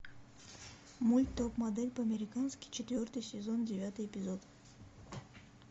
мульт топ модель по американски четвертый сезон девятый эпизод